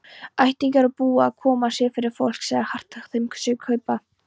Ættingjar og búið-að-koma-sér-fyrir-fólk lagði hart að þeim að kaupa.